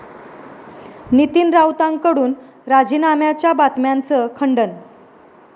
नितीन राऊतांकडून राजीनाम्याच्या बातम्यांचं खंडन